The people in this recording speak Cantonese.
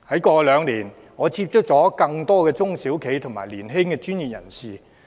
過去兩年，我接觸很多中小企及年輕專業人士。